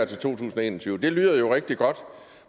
to tusind og en og tyve det lyder jo rigtig godt